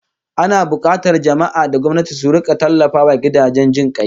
Ana bukatar jama'a da gwamnati su rika tallafawa gidajen jin kai